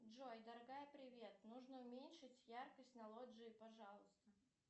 джой дорогая привет нужно уменьшить яркость на лоджии пожалуйста